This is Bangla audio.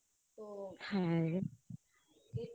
হ্যা